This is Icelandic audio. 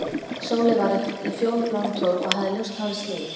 Sóley var í fjólubláum kjól og hafði ljóst hárið slegið.